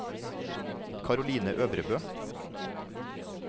Caroline Øvrebø